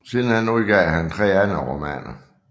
Senere udgav han tre andre romaner